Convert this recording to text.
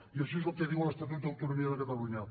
i això és el que diu l’estatut d’autonomia de catalunya